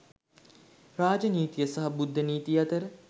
රාජ නීතිය සහ බුද්ධ නීතිය අතර